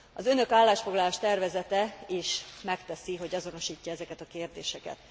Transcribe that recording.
Az önök állásfoglalás tervezete is megteszi, hogy azonosítja ezeket a kérdéseket.